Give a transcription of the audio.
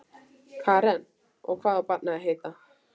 Karen: Og hvað á barnið að heita?